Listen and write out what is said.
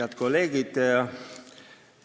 Head kolleegid!